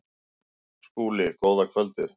SKÚLI: Góða kvöldið!